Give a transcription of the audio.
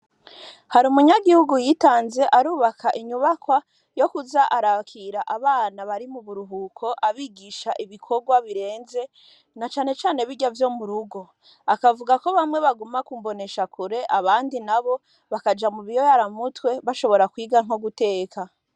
Hari umunyagihugu yitanze arubaka inyubakwa yo kuza arakira abana bari muburuhuko, abigisha ibikorwa birenze, nacane cane birya vyo murugo, akavuga ko bamwe baguma ku mboneshakure, abandi nabo bakaja mubiyayuramutwe, bashobora kwiga nko guteka.